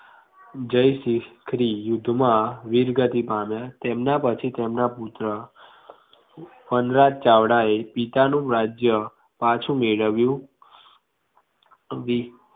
જય શિષ્ટ થ્રી યુદ્ધ મા વીરગતિ પામ્યા તેમના પછી તેમના પુત્ર વનરાજ ચાવડાએ પિતાનું રાજ્ય પાછુ મેળવ્યું